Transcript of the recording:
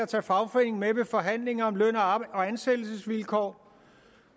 tage fagforeningen med ved forhandlinger om løn og ansættelsesvilkår